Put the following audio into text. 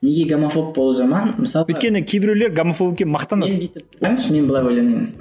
неге гомофоб болу жаман мысалға өйткені кейбіреулер гомофобқа мақтанады мен бүйтіп қараңызшы мен былай ойланайын